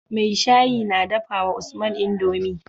mai shayi na dafawa usman indomie